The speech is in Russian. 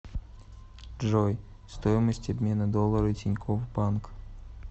джой стоимость обмена доллара тинькофф банк